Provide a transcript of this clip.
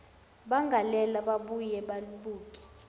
bangalela babuye babuke